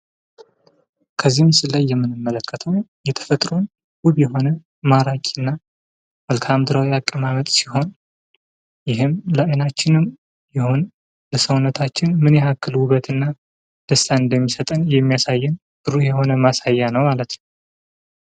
ከዚህ ምስል ላይ የምንመልከተው የተፈጥሮን ዉብ የሆነ እና ማራኪ የሆነ አቀማማጥ ሲሆን ይህም ዘመናችን ቢሆን የሰዉነታችን ምን ያክሉ ዉበትና ደስታ እንደሚሰጣን የሚያሳየን ጥሩ የሆነ ማሳያ ነው ማለት ነው።